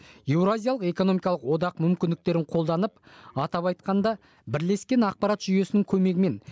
еуразиялық экономикалық одақ мүмкіндіктерін қолданып атап айтқанда бірлескен ақпарат жүйесінің көмегімен